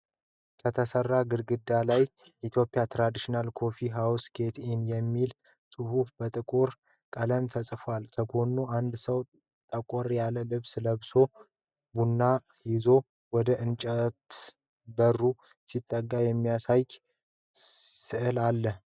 ከተሠራ ግድግዳ ላይ “ETHIOPIAN TRADITIONAL COFFEE HOUSE GET IN” የሚል ጽሑፍ በጥቁር ቀለም ተጽፏል። ከጎኑ አንድ ሰው ጠቆር ያለ ልብስ ለብሶ ቡና ይዞ ወደእንጨት በሩ ሲጠቁም የሚያሳይ ሥዕል አለ።